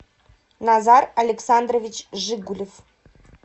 назар александрович жигулев